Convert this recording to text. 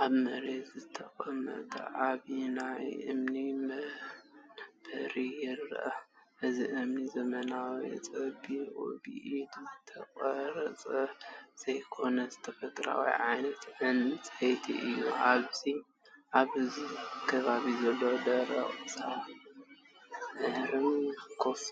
ኣብ መሬት ዝተቐመጠ ዓቢ ናይ እምኒ መንበር ይረአ። እቲ እምኒ ዘመናዊ፡ ጸቢብ ብኢድ ዝተቐርጸ ዘይኮነስ፡ ተፈጥሮኣዊ ዓይነት ዕንጸይቲ እዩ። ኣብ ከባቢኡ ዘሎ ደረቕ ሳዕርን ፍኹስ